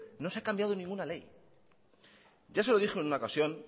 no se ha cambiado ninguna ley yo se lo dije en una ocasión